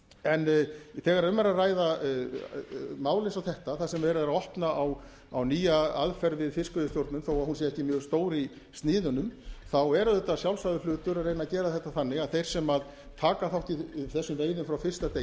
en þegar um er að ræða mál eins og þetta þar sem verið er að opna á nýja aðferð við fiskveiðistjórnun þó að hún sé ekki mjög stór í sniðum er auðvitað sjálfsagður hlutur að reyna að gera þetta þannig að þeir sem taka þátt í þessum veiðum frá fyrsta